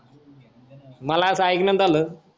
मला अस ऐकण्यात आल